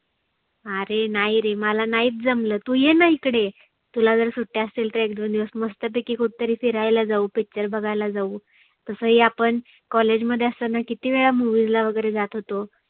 आरे नाही रे मला नाहिच जमलं तु येणा इकडे. तुला जर सुट्ट्या असतील तर एक दोन दिवस मस्त पैकी कुठे तरी फिरायला जाऊ picture बघायला जाऊ. तसं ही आपण college मध्ये असताना किती वेळा movies ला वगैरे जात होतो.